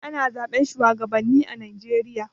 Ana zaɓe shuwagabanni a Najeriya.